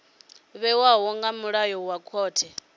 vhewaho nga milayo ya khothe